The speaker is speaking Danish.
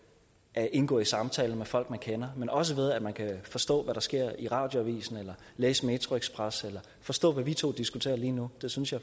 at indgå i samtaler med folk man kender men også ved at man kan forstå hvad der sker i radioavisen eller læse metroxpress eller forstå hvad vi to diskuterer lige nu det synes jeg